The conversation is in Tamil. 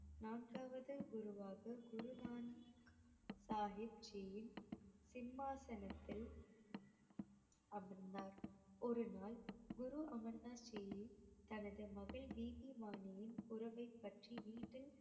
நான்காவது குருவாக சாஹிப் ஜியின் சிம்மாசனத்தில் அமர்ந்தார் ஒருநாள் குரு அமர் தாஸ் ஜி தனது மகள் பிபி பாணியின் உறவை பற்றி வீட்டில்